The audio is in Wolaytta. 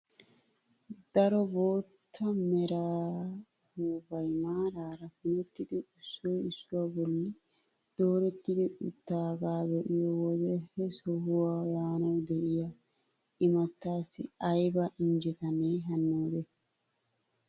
Daro bootta mera upuupay maarara punettidi issoy issuwaa bolli dooretti uttidagaa be'iyoo wode he sohuwaa yaanawu de'iyaa imattaassi ayba injjetanee hannoode!